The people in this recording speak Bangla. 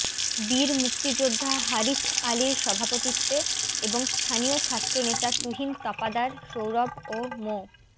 বীর মুক্তিযোদ্ধা হারিছ আলীর সভাপতিত্বে এবং স্থানীয় ছাত্রনেতা তুহিন তাপাদার সৌরভ ও মো